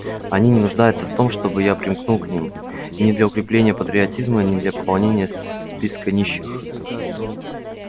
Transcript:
они не нуждаются в том чтобы я примкнул к ним ни для укрепления патриотизма ни для пополнения списка нищих